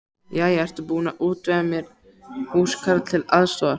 Jæja, ertu búin að útvega mér húskarl til aðstoðar?